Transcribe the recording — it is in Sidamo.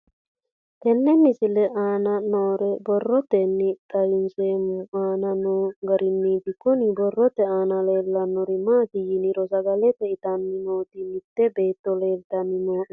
Tenne misile aana noore borroteni xawiseemohu aane noo gariniiti. Kunni borrote aana leelanori maati yiniro sagale itanni nooti mitte beeto leelitanni nooe.